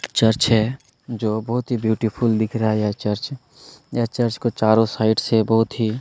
church है जो बहुत ही ब्यूटीफुल दिख रहा है यह चर्च यह चर्च को चारों साइड से बहुत ही --